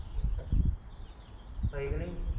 ਸਹੀ ਕ ਨਹੀਂ